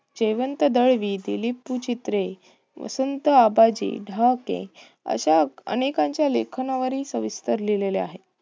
जयवंत दळवी, दिलीप सुचित्रे, वसंत अबाजी डहाके अशा अनेकांच्या लेखनावरही सविस्तर लिहलेले आहे.